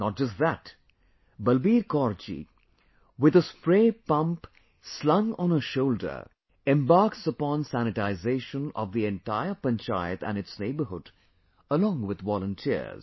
Not just that Balbir Kaur ji, with a spray pump slung on her shoulder embarks upon sanitization of the entire Panchayat & its neighbourhood, along with volunteers